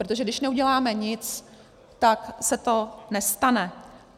Protože když neuděláme nic, tak se to nestane.